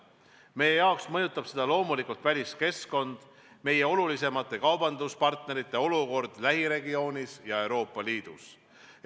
Meie puhul mõjutab seda loomulikult väliskeskkond, meie olulisemate kaubanduspartnerite olukord lähiregioonis ja Euroopa Liidus.